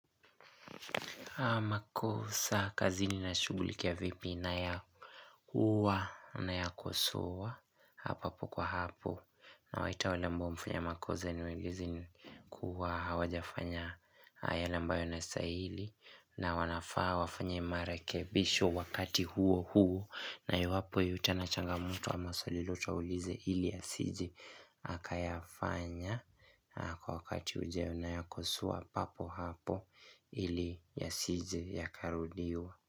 Makosa kazini na shugulikia vipi na ya kuwa nayakosoa hapa po kwa hapo na waita wale ambao wameafanya makoze niwaelezi kuwa hawajafanya haya yale ambayo yanastaili na wanafaa wafanye marekebisho wakati huo huo na iwapo yeyote ana changamoto ama swali lolote aulize ili asiji aka yafanya kwa wakati ujeo na ya kosoa papo hapo ili yasije ya karudiwa.